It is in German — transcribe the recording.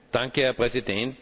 Herr Präsident!